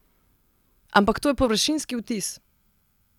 Ampak to je površinski vtis!